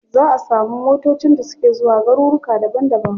Za a samu motacin da suke zuwa garuruka daban daban.